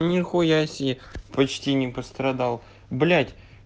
нихуя себе почти не пострадал блять